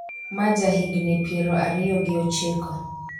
ma ja higni piero ariyo gi ochiko